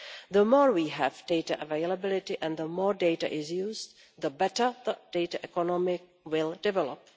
The more we have data availability and the more data is used, the better the data economy will develop.